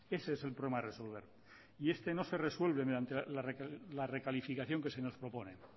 ese es el problema a resolver y este no se resuelve mediante la recalificación que se nos propone